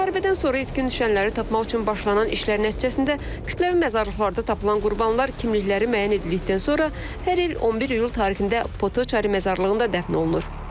Müharibədən sonra itkin düşənləri tapmaq üçün başlanan işlərin nəticəsində kütləvi məzarlıqlarda tapılan qurbanlar kimlikləri müəyyən edildikdən sonra hər il 11 iyul tarixində Potoçari məzarlığında dəfn olunur.